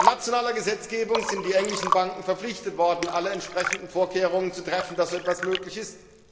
Per nationaler Gesetzgebung sind die englischen Banken verpflichtet worden, alle entsprechenden Vorkehrungen zu treffen, dass so etwas möglich ist.